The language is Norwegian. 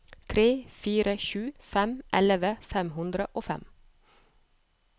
tre fire sju fem elleve fem hundre og fem